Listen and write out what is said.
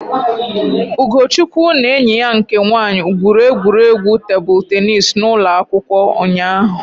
Ugochukwu na enyi ya nke nwaanyị gwuru egwuregwu tebụl teenis n'ụlọ akwụkwọ ụnyaahụ